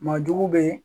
Maa jugu bɛ